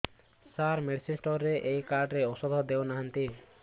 ସାର medicine store ରେ ଏଇ card ରେ ଔଷଧ ଦଉନାହାନ୍ତି